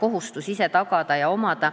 kohustus ise tagada ja omada.